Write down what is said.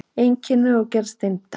Einkenni og gerð steinda